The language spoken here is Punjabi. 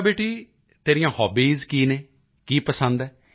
ਅੱਛਾ ਬੇਟੀ ਤੇਰੀਆਂ ਕੀ ਹੌਬੀਜ਼ ਹਨ ਕੀ ਪਸੰਦ ਹੈ